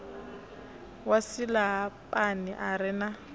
wa silahapani a re na